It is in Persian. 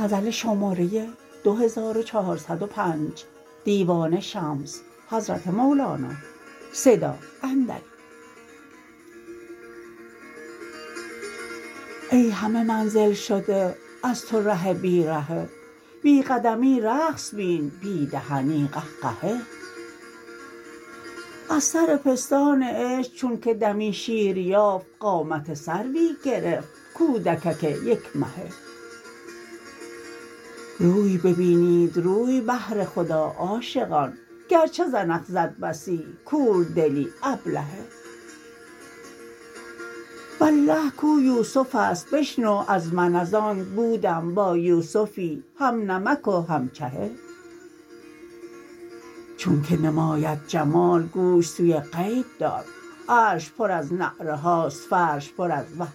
ای همه منزل شده از تو ره بی رهه بی قدمی رقص بین بی دهنی قهقهه از سر پستان عشق چونک دمی شیر یافت قامت سروی گرفت کودکک یک مهه روی ببینید روی بهر خدا عاشقان گرچه زنخ زد بسی کوردلی ابلهه والله کو یوسف است بشنو از من از آنک بودم با یوسفی هم نمک و هم چهه چونک نماید جمال گوش سوی غیب دار عرش پر از نعره هاست فرش پر از وه